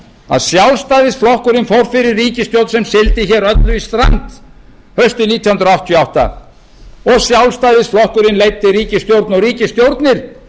að sjálfstæðisflokkurinn fór fyrir ríkisstjórn sem sigldi öllu í strand haustið nítján hundruð áttatíu og átta og sjálfstæðisflokkurinn leiddi ríkisstjórn og ríkisstjórnir